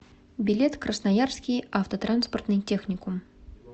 билет красноярский автотранспортный техникум